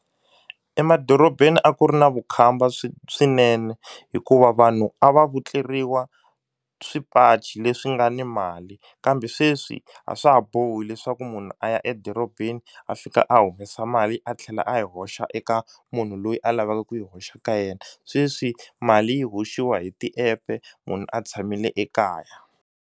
Emadorobeni a ku ri na vukhamba swinene hikuva vanhu a va vutleriwa swipachi leswi nga ni mali kambe sweswi a swa ha bohi leswaku munhu a ya edorobeni a fika a humesa mali a tlhela a yi hoxa eka munhu loyi a lavaka ku yi hoxa ka yena sweswi mali yi hoxiwa hi ti-app-e munhu a tshamile ekaya.